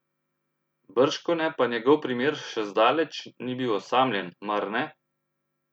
Bržkone pa njegov primer še zdaleč ni bil osamljen, mar ne?